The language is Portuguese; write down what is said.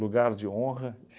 Lugar de honra.